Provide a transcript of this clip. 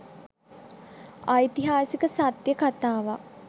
ඓතිහාසික සත්‍ය කතාවක්